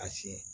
A siɲɛ